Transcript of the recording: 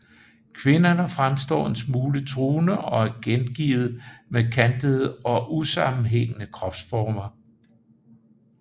Kvinderne fremstår en smule truende og er gengivet med kantede og usammenhængende kropsformer